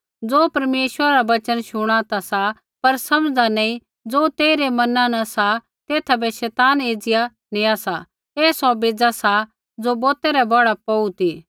ज़ो परमेश्वरा रा वचन शुणा ता सा पर समझ़दा नी ज़ो तेइरै मना न सा तेथा बै शैतान एज़िया नेआ सा ऐ सौ बेज़ा सा ज़ो बौतै रै बौढ़ा पौड़ू ती